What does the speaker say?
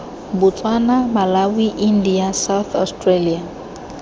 botswana malawi india south australia